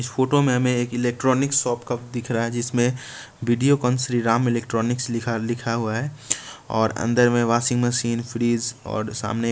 photo में हमें एक इलेक्ट्रॉनिक शॉप का दिख रहा है जिसमें वीडियोकौन श्री राम इलेक्ट्रॉनिक्स लिखा लिखा हुआ है और अंदर में वाशिंग मशीन फ्रीज और सामने--